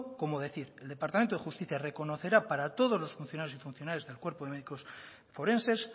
como decir el departamento de justicia reconocerá para todos los funcionarios y funcionarias del cuerpo de médicos forenses